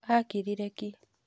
Akirire ki.